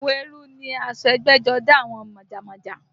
Àwọ̀ eérú ni aṣọ ẹgbẹ́jọdá àwọn májámájá